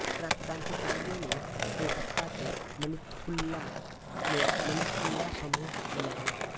क्रांतिकारियों ने कलकत्ता के मनिक्तुल्ला में मनिक्तुल्ला समूह बनाया